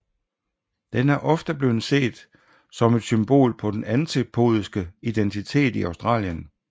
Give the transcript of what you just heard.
Den er ofte blevet set som et symbol på den antipodiske identitet i Australien